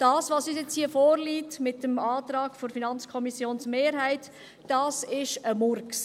Was uns jetzt hier mit dem Antrag der FiKo-Mehrheit vorliegt, ist ein Murks.